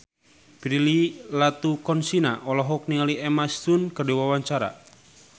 Prilly Latuconsina olohok ningali Emma Stone keur diwawancara